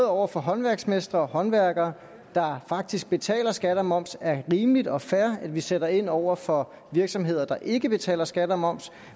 over for håndværksmestre og håndværkere der faktisk betaler skat og moms er rimeligt og fair at vi sætter ind over for virksomheder der ikke betaler skat og moms